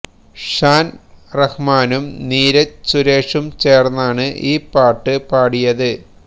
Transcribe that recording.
ഷാൻ റഹമാനും നിരഞ്ജ് സുരേഷും ചേർന്നാണ് ഈ പാട്ട് പാടിയത്